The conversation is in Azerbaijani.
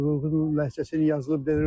Dədə Qorqudun ləhcəsi yazılıb.